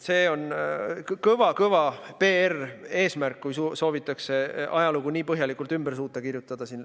See on väga kõva PR-eesmärk, kui soovitakse suuta ajalugu nii põhjalikult ümber kirjutada.